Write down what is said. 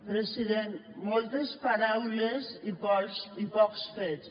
president moltes paraules i pocs fets